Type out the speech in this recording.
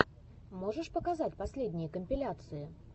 можешь показать последние компиляции